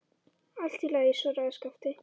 Allt í lagi, svaraði Skapti.